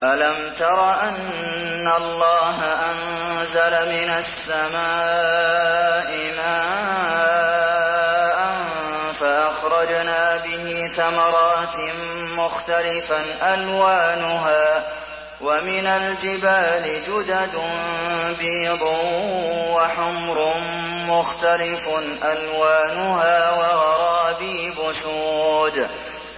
أَلَمْ تَرَ أَنَّ اللَّهَ أَنزَلَ مِنَ السَّمَاءِ مَاءً فَأَخْرَجْنَا بِهِ ثَمَرَاتٍ مُّخْتَلِفًا أَلْوَانُهَا ۚ وَمِنَ الْجِبَالِ جُدَدٌ بِيضٌ وَحُمْرٌ مُّخْتَلِفٌ أَلْوَانُهَا وَغَرَابِيبُ سُودٌ